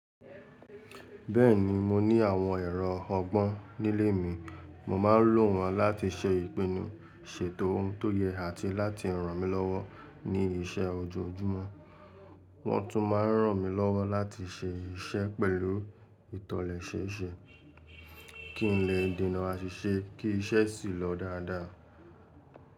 Bẹ́ẹ̀ni, mo ní àwọn ẹ̀rọ ọgbọ́n nílé mi, mo máa ń lò wọ́n láti ṣe ìpinnu, ṣètò ohun tó yẹ àti láti ràn mí lọ́wọ́ ní iṣẹ́ ojoojúmọ́. Wọ́n tún máa ń ràn mí lọ́wọ́ láti ṣe iṣẹ́ pẹ̀lú ìtọ́lẹ́sẹẹsẹ, kí n lè dènà aṣíṣe kí iṣẹ́ sì lọ dáadáa.